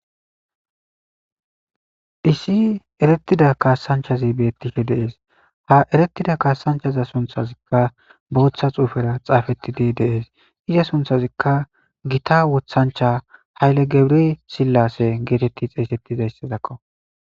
issi erettida kaasanchazi beettihe de'ees ha eretida kaasanchaza sunthazikka booththa xuufera xaafettidi deees iza sunthazikka gita wothancha hayle gebiri sillasse geetetti xeessettizayssadakko